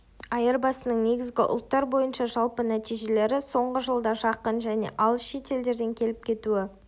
айырбасының негізгі ұлттар бойынша жалпы нәтижелері соңғы жылда жақын және алыс шет елдерден келіп кетуі